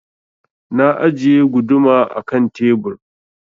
Na ajiye guduma a ƙan tebur.